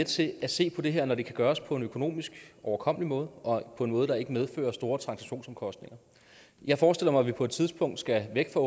til at se på det her når det kan gøres på en økonomisk overkommelig måde og på en måde der ikke medfører store transaktionsomkostninger jeg forestiller mig at vi på et tidspunkt skal væk fra